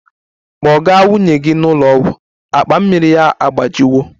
Kpọga nwunye gị n'ụlọ ọgwụ! Akpa mmiri ya agbajiwo